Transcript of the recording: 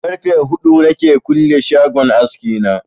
Karfe huɗu na ke kulle shagon aski na